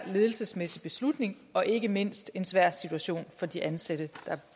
ledelsesmæssig beslutning og ikke mindst en svær situation for de ansatte